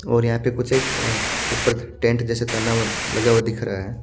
और यहाँ पे कुछ एक ऊपर टेंट जैसे टना हुआ लगा हुआ दिख रहा है।